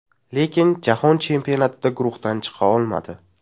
Lekin Jahon chempionatida guruhdan chiqa olmadi.